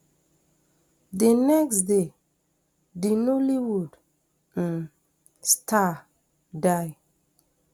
di next day di nollywood um star die